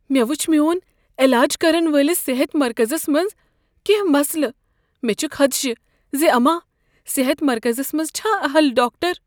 مےٚ وچھ میون علاج كرن وٲلِس صحت مركزس منز كیٚنہہ مسلہ ۔ مے٘ چھ خدشہِ زِ اما صحت مرکزس منز چھا اہل ڈاکٹر۔